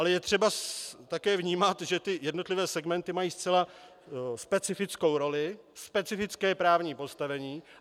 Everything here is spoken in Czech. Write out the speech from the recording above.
Ale je třeba také vnímat, že ty jednotlivé segmenty mají zcela specifickou roli, specifické právní postavení.